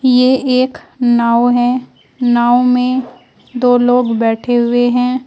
ये एक नाव है नाव में दो लोग बैठे हुए है।